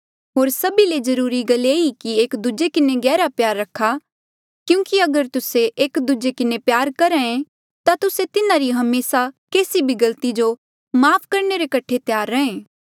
होर सभी ले जरूरी गल ये ई कि एक दूजे किन्हें गहरा प्यार रखा क्यूंकि अगर तुस्से एक दूजे किन्हें प्यार करहे ता तुस्से तिन्हारी हमेसा केसी भी गलती जो माफ़ करणे रे कठे त्यार रहे